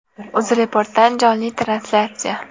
UzReportdan jonli translyatsiya.